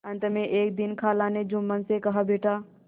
अंत में एक दिन खाला ने जुम्मन से कहाबेटा